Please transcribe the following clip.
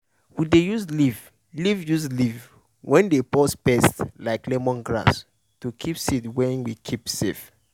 group wey i dey celebrate seed wey dey hard to find with dance com join tell story about dem.